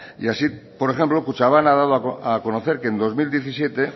y así por ejemplo kutxabank ha dado a conocer que en dos mil diecisiete